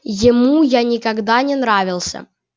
ему я никогда не нравился